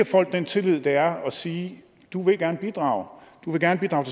folk den tillid det er at sige du vil gerne bidrage du vil gerne bidrage